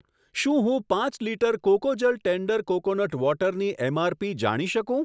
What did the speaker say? શું હું પાંચ લિટર કોકોજલ ટેન્ડર કોકોનટ વોટરની એમઆરપી જાણી શકું?